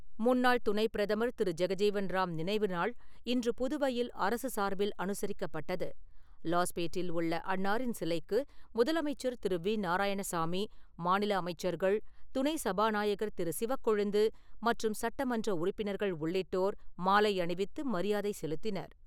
முன்னாள் துணைப் பிரதமர் திரு ஜெகஜீவன்ராம் நினைவுநாள் இன்று புதுவையில் அரசு சார்பில் அனுசரிக்கப்பட்டது. லாஸ்பேட்டில் உள்ள அன்னாரின் சிலைக்கு முதலமைச்சர் திரு வி நாராயணசாமி, மாநில அமைச்சர்கள், துணை சபாநாயகர் திரு சிவக்கொழுந்து மற்றும் சட்டமன்ற உறுப்பினர்கள் உள்ளிட்டோர், மாலை அணிவித்து மரியாதை செலுத்தினர்.